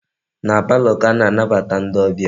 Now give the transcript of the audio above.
Na palọ ka a na-anabata ndi obia.